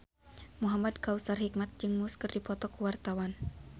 Muhamad Kautsar Hikmat jeung Muse keur dipoto ku wartawan